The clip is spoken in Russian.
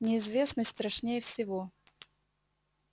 неизвестность страшнее всего